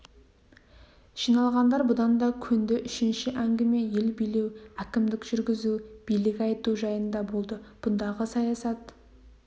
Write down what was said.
жиналғандар бұған да көнді үшінші әңгіме ел билеу әкімдік жүргізу билік айту жайында болды бұндағы саясат